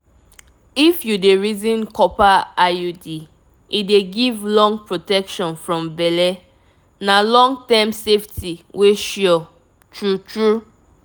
if you dey reason copper iud e dey give long protection from belle na long-term safety wey sure. true true